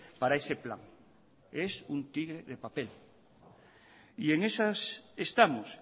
para ese plan es un tigre de papel y en esas estamos